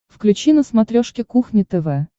включи на смотрешке кухня тв